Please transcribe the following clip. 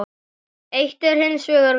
Eitt er hins vegar víst.